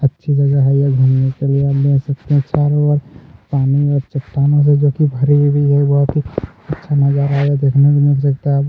अच्छी जगह है यह घूमने के लिए आप देख सकते है चारो ओर पानी और चट्टानों से भरी हुई है जो अच्छा मजा आ रहा है जो देखने में --